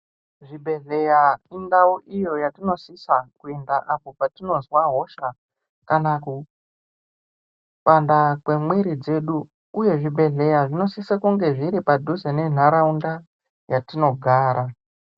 Zvibhedhlera indau idzo dzatinosisa kuenda apo patinozwa hosha kana kupanda kwemwiri dzedu uye zvibhedhlera zvinosisa kunge zviri padhuze Nenharaunda yatinogara.